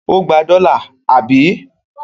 Ó gba dọ́là, àbí?